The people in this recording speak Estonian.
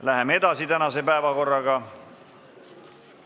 Läheme edasi tänase päevakorraga.